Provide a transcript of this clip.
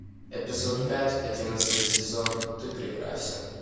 эпизод пять одиннадцатый сезон ты прекрасен